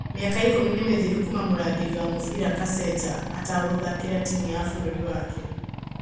Mĩaka ikũmi nĩ mĩthiru kuma mũragĩri wa mũbira Kaseja atagũthakĩra timũ ya bũrũri wake.